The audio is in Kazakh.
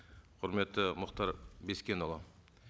құрметті мұхтар бескенұлы